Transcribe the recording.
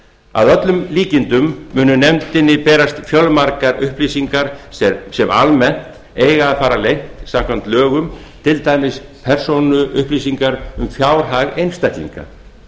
að öllum líkindum munu nefndinni berast fjölmargar upplýsingar sem almennt eiga að fara leynt samkvæmt lögum til dæmis persónuupplýsingar um fjárhag einstaklinga